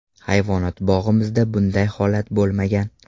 Hayvonot bog‘imizda bunday holat bo‘lmagan.